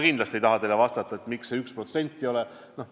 Miks seda 1% ei ole?